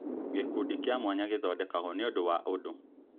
Gĩkundi kĩa mwanya gĩthondekagwo nĩũndũ wa ũndũ